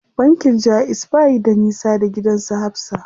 Bankin jaiz bayi da nisa da gidan su Hafsa.